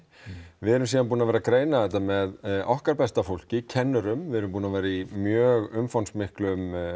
við erum síðan búin að vera að greina þetta með okkar besta fólki kennurum við erum líka búin að vera í mjög umfangsmiklu